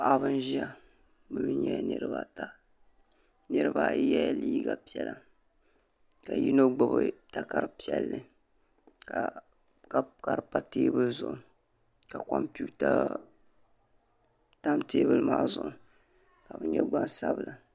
paɣaba n ʒia bɛ nyɛla niriba ata nirina ayi yela liiga piɛla ka yino gbibi takara piɛlli ka di pa teebuli zuɣu ka kompita tam teebuli maa zuɣu ka bɛ nyɛ gbansabla.